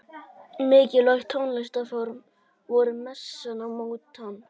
Mikilvæg tónlistarform voru messan og mótettan.